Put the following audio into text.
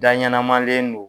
Da ɲɛnamalen don